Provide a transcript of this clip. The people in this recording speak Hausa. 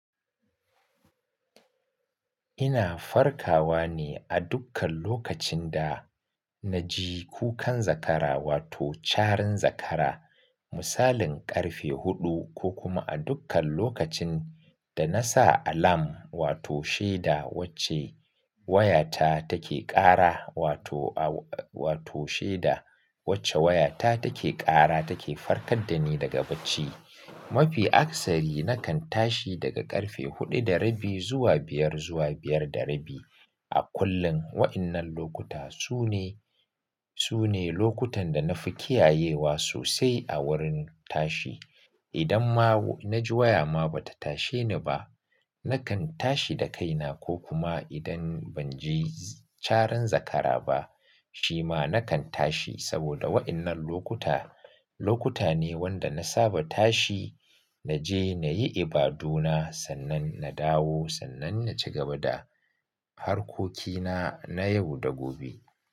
Ina farkawa ne a dukkan lokacin da na ji kukan zakara wato charin zakara, misalin ƙarfe huɗu ko kuma a dukkan lokacin da na sa alam wato shida wacce wayata take ƙara wato a wato shaida wacce wayata take ƙara take farkar da ni daga bacci. Mafi akasari nakan tashi daga ƙarfe huɗu da rabi zuwa biyar zuwa biyar da rabi. A kullum waɗannan lokuta su ne, su ne lokutan da na fi kiyayewa sosai a wurin tashi. Idan ma na ji waya ma ba ta tashe ni ba, nakan tashi da kaina ko kuma idan ban ji charin zakara ba, shi ma nakan tashi saboda waɗannan lokuta, lokuta ne wanda na saba tashi naje na yi ibaduna sannan na dawo sannan na ci gaba da harkokina na yau da gobe.